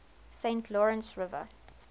saint lawrence river